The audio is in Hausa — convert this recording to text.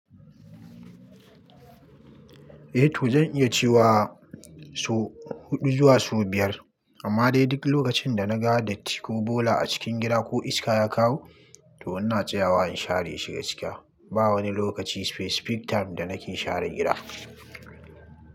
Eh to zan iya cewa sau huɗu zuwa sau biyar amma dai duk lokacin da na ga datti ko bola a cikin gida ko iska ya kawo to ina tsayawa in share shi gaskiya. Ba wani lokaci specific time da nake share gida.